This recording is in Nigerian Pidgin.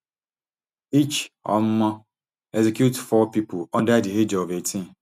each um execute four pipo under di age of eighteen